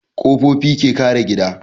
Ƙofofi ke kare gida